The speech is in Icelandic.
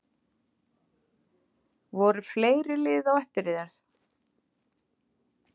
Voru fleiri lið á eftir þér?